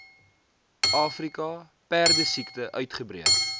afrika perdesiekte uitgebreek